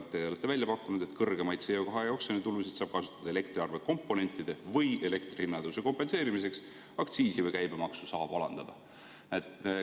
Te olete välja pakkunud, et kõrgemaid CO2 oksjoni tulusid saab kasutada elektriarve komponentide või elektri hinna tõusu kompenseerimiseks, aktsiisi või käibemaksu saab alandada.